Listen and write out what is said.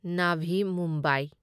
Navi Mumbai